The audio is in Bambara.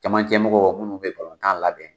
Camancɛ mɔgɔ minnu bɛ balontan labɛn.